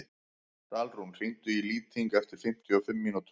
Dalrún, hringdu í Lýting eftir fimmtíu og fimm mínútur.